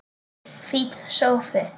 Fínn sófi!